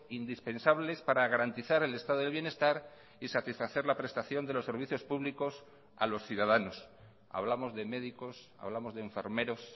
indispensables para garantizar el estado del bienestar y satisfacer la prestación de los servicios públicos a los ciudadanos hablamos de médicos hablamos de enfermeros